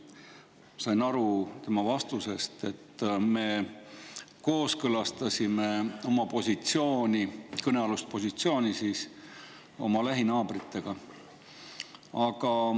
Ma sain tema vastusest aru, et me kooskõlastasime oma kõnealuse positsiooni lähinaabritega.